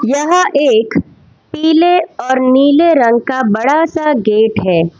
यह एक पीले और नीले रंग का बड़ा सा गेट है।